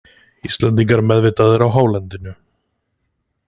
Íslendingar meðvitaðir á hálendinu